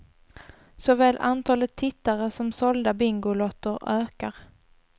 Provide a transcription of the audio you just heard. Såväl antalet tittare som sålda bingolotter ökar.